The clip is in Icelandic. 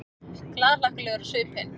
Glaðhlakkalegur á svipinn.